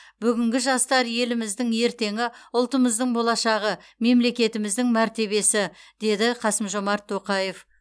бүгінгі жастар еліміздің ертеңі ұлтымыздың болашағы мемлекетіміздің мәртебесі деді қасым жомарт тоқаев